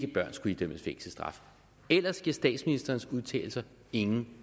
at børn skulle idømmes fængselsstraf ellers giver statsministerens udtalelser ingen